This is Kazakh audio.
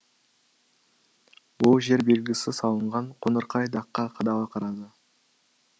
ол жер белгісі салынған қоңырқай даққа қадала қарады